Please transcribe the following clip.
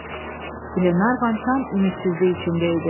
Glenarvan tam ümidsizlik içində idi.